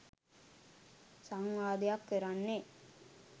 සංවාදයක් කරන්නේ